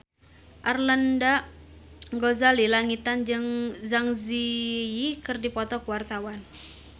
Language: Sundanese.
Arlanda Ghazali Langitan jeung Zang Zi Yi keur dipoto ku wartawan